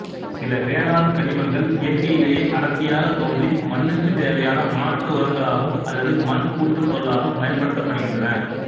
சில வேளாண்கனிமங்கள் இயற்கையிலேயே அடர்த்தியாகத் தோன்றி மண்ணுக்குத் தேவையான மாற்று உரங்களாகவும் அல்லது மண் கூட்டுப்பொருளாகவும் பயன்படுத்தப்படுகின்றன